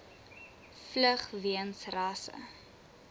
vlug weens rasse